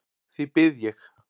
Því bið ég.